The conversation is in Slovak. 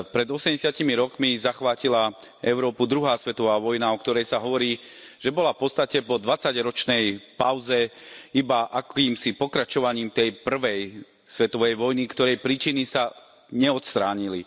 Pred 80 rokmi zachvátila Európu druhá svetová vojna, o ktorej sa hovorí, že bola v podstate po 20 ročnej pauze iba akýmsi pokračovaním tej prvej svetovej vojny, ktorej príčiny sa neodstránili.